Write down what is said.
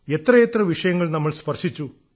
എത്രയെത്ര വിഷയങ്ങൾ നമ്മൾ സ്പർശിച്ചു